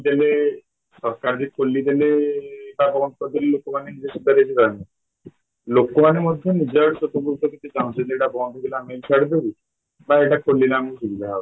ହେଲେ ସରକାରବି ଖୋଲିଦେଲେ ଏଇଟା ବନ୍ଦ କରିଦେଲେ ଲୋକମାନେ ନିଜେ ଲୋକମାନେ ମଧ୍ୟ ନିଜ ଆଡୁ ସଚେତନ ଚାହୁଁଛନ୍ତି ଏଇଟା ବନ୍ଦ ହେଇଗଲେ ଆମେ ଛାଡିଦେବୁ ବା ଖୋଲିଲେ ଆମକୁ ଏଇଟା ସୁବିଧା ହବ